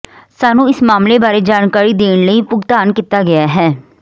ਸਾਨੂੰ ਇਸ ਮਾਮਲੇ ਬਾਰੇ ਜਾਣਕਾਰੀ ਦੇਣ ਲਈ ਭੁਗਤਾਨ ਕੀਤਾ ਗਿਆ